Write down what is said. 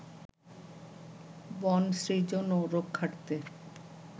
বন সৃজন ও রক্ষার্থে